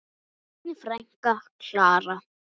Þín frænka, Klara.